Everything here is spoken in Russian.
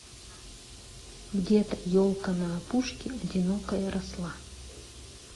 где то елка на опушке одинокая росла